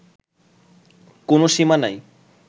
কোনও সীমা নাই